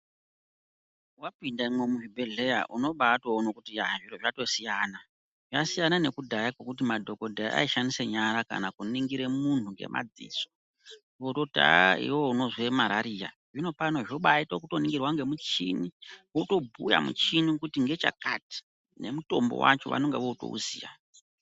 Vapindemwo muzvibhedhleya unobatoona nekuti yaa zviro zvatosiyana zvasiyana. Zvasiyana nekudhaya kwekuti madhogodheya aishandisa nyara kana kunongire muntu ngemadziso vototi aa iveve unozwe marariya. Zvinopano zvobaite zvekutoningirwe ngemushini votobhuya muchini kuti ngechakati nemutombo vacho vanonga votouziya.